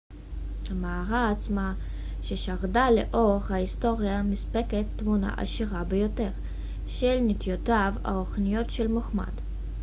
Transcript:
המערה עצמה ששרדה לאורך ההיסטוריה מספקת תמונה עשירה ביותר של נטיותיו הרוחניות של מוחמד